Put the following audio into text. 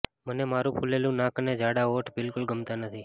મને મારુ ફુલેલુ નાક અને જાડા હોઠ બિલકુલ ગમતા નથી